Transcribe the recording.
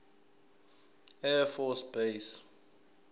air force base